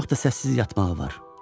Çox da səssiz yatmağı var.